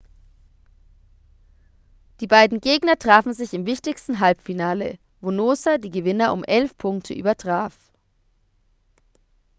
die beiden gegner trafen sich im wichtigsten halbfinale wo noosa die gewinner um 11 punkte übertraf